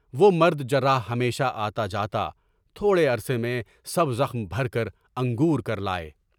وہ مرد جراح ہمیشہ آتا جاتا، تھوڑے عرصے میں سب زخم بھر کر انگور کر لائے۔